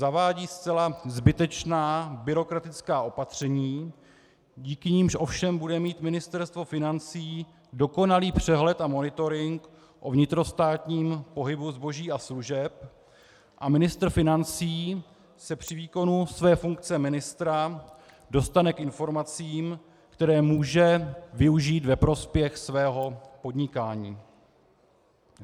Zavádí zcela zbytečná byrokratická opatření, díky nimž ovšem bude mít Ministerstvo financí dokonalý přehled a monitoring o vnitrostátním pohybu zboží a služeb a ministr financí se při výkonu své funkce ministra dostane k informacím, které může využít ve prospěch svého podnikání.